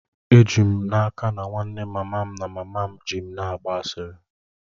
Eji m n'aka na nwanne mama m na mama m ji m na-agba asịrị